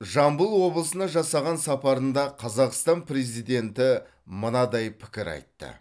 жамбыл облысына жасаған сапарында қазақстан президенті мынадай пікір айтты